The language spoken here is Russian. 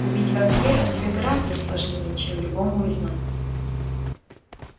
убить вампира тебе гораздо сложнее чем любому из нас